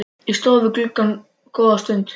Ég stóð við gluggann góða stund.